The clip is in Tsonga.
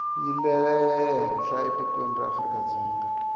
yi lehenhla etikweni ra afrikadzonga